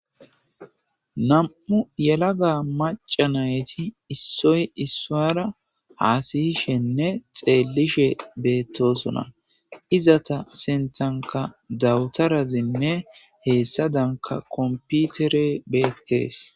nam7u yelaga maca nayti issoy issuwaara haasiyishenne xeellishe beettosona izata sentanka dawutarazinne heessa danka komputere beettees.